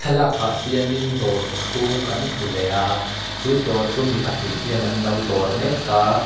thlalakah hian in dawr chhung kan hmu leh a chu dawr chu mi pahnih hian an lo dawr mek a--